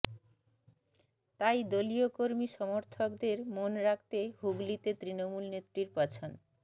তাই দলীয় কর্মী সমর্থকদের মন রাখতে হুগলিতে তৃণমূলনেত্রীর পছন